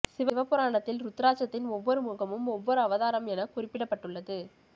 சிவ புராணத்தில் ருத்ராட்சத்தின் ஒவ்வொரு முகமும் ஒவ்வொரு அவதாரம் என குறிப்பிடப்பட்டுள்ளது